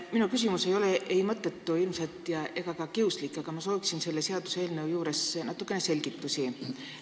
Minu küsimus ei ole ilmselt ei mõttetu ega ka kiuslik, ma soovin natuke selgitusi selle seaduseelnõu kohta.